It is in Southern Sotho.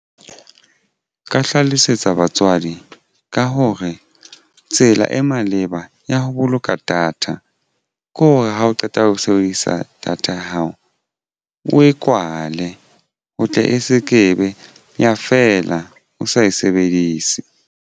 Ka hlalosetsa batswadi ka hore tsela e maleba ya ho boloka data ke hore ha o qeta ho sebedisa data ya hao o e kwale ho tle e se ke be ya feela o sa e sebedise.